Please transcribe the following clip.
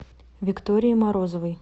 виктории морозовой